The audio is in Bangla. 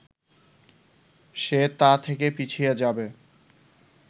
সে তা থেকে পিছিয়ে যাবে